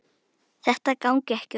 Þetta gangi ekki upp.